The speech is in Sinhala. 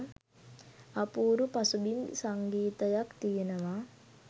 අපූරු පසුබිම් සංගීතයක් තියෙනවා.